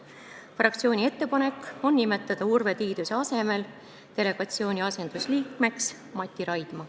Fraktsiooni ettepanek on nimetada Urve Tiiduse asemel delegatsiooni asendusliikmeks Mati Raidma.